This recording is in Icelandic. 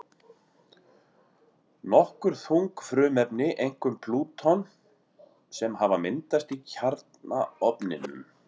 Nokkur þung frumefni, einkum plúton, sem hafa myndast í kjarnaofninum.